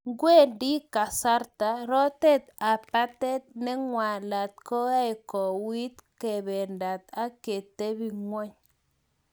Kwendi kasarta rotet ap patet nekwolot koae kowuit kependat ak ketepng'wony